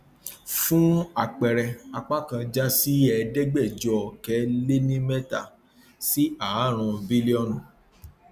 fún àpẹẹrẹ apá kan já sí ẹẹdẹgbẹjọ ọkẹ le ní mẹta sí ààrún bílíọnù